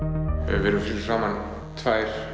við erum fyrir framan tvær